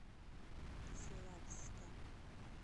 славска